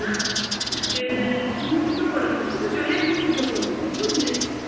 সিদ্ধ করে নিবা শুধু জলে মিশিয়ে সিদ্ধ করে নিবে বুঝলে